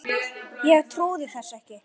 Ég trúði þessu ekki.